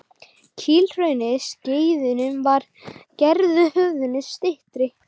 Kílhrauni á Skeiðum var gerður höfðinu styttri.